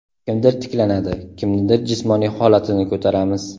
Kimdir tiklanadi, kimnidir jismoniy holatini ko‘taramiz.